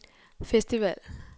festival